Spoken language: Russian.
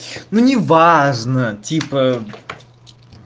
ну неважна типа